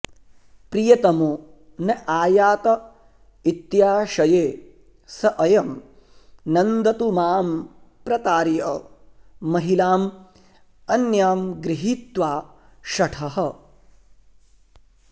प्रियतमो न आयात इत्याशये स अयं नन्दतु मां प्रतार्य महिलां अन्यां गृहीत्वा शठः